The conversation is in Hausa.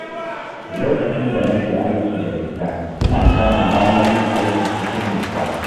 Lokacin da na ke aiki daga gida, ina samun damar yin aiki cikin nutsuwa.